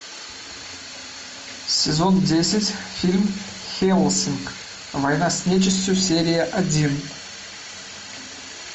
сезон десять фильм хеллсинг война с нечистью серия один